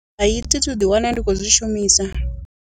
Hai, thi thu uḓi wana ndi khou zwi shumisa.